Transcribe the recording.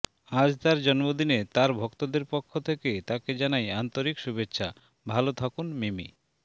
আজ তাঁর জন্মদিনে তাঁর ভক্তদের পক্ষ থেকে তাঁকে জানাই আন্তরিক শুভেচ্ছা ভালো থাকুন মিমি